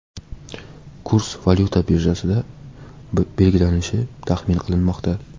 Kurs valyuta birjasida belgilanishi taxmin qilinmoqda.